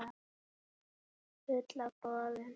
Fulla af boðum.